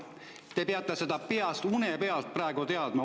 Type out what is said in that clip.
Te peate seda une pealt peast teadma.